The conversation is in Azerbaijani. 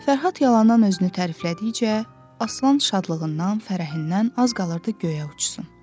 Fərhad yalandan özünü təriflədikcə, Aslan şadlığından, fərəhindən az qalırdı göyə uçsun.